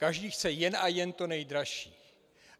Každý chce jen a jen to nejdražší.